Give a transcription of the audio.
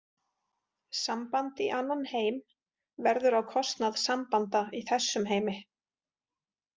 Samband í annan heim verður á kostnað sambanda í þessum heimi.